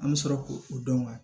An bɛ sɔrɔ k'o o dɔn